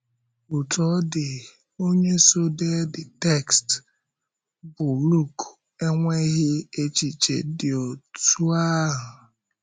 Ọ̀tú ọ dị, onye so dee the text bụ́ Lùk enweghị echiche dị otú ahụ.